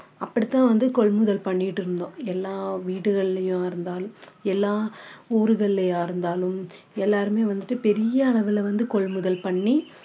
அப்படிதான் கொள்முதல் பண்ணிட்டு இருந்தோம் எல்லாம் வீடுகளுலயா இருந்தாலும் ஊருகலயா இருந்தாலும் எல்லாருமே வந்துட்டு பெரிய அளவுல வந்து கொள்முதல் பண்ணி